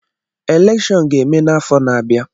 Elèkshón ga-eme n'afọ na-abịa